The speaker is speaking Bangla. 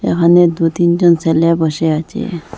এখানে দুতিন জন সেলে বসে আছে।